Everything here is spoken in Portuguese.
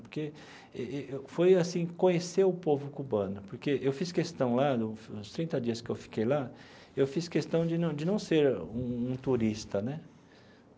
Porque foi, assim, conhecer o povo cubano, porque eu fiz questão lá, no nos trinta dias que eu fiquei lá, eu fiz questão de não de não ser um um turista, né?